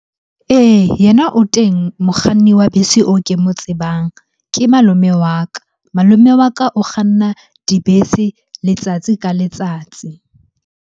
Ee, yena o teng mokganni wa bese o ke mo tsebang. Ke malome wa ka, malome wa ka o kganna dibese letsatsi ka letsatsi.